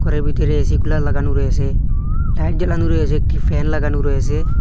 ঘরের ভিতরে A C cooler লাগানো রয়েসে লাইট জ্বালানো রয়েসে একটি ফ্যান লাগানো রয়েসে।